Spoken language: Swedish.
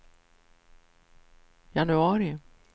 januari